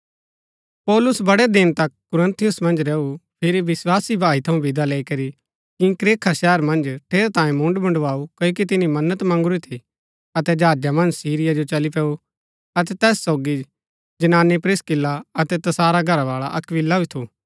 पौलुस बड़ै दिन तक कुरिन्थुस मन्ज रैऊ फिरी विस्वासी भाई थऊँ विदा लैई करी किंख्रेआ शहर मन्ज ठेरैतांये मुण्ड़ मुण्डवाऊ क्ओकि तिनी मन्नत मगुँरी थी अतै जहाजा मन्ज सीरिया जो चली पैऊ अतै तैस सोगी जनानी प्रिस्किल्ला अतै तसारा घरावाळा अक्‍विला भी थू